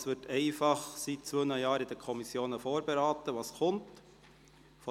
Was vonseiten der Direktionen kommt, wird seit zwei Jahren in den Kommissionen vorberaten.